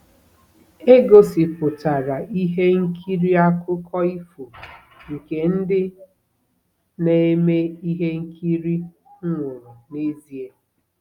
E gosipụtara ihe nkiri akụkọ ifo nke ndị na-eme ihe nkiri nwụrụ n'ezie.